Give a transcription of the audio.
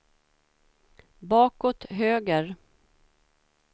bakåt höger